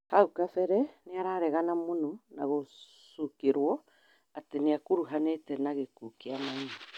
Haũ kabere nĩararegana mũno na gũcukĩrwo atĩ nĩakũrũhanĩtio na gĩkuũ kĩa Maina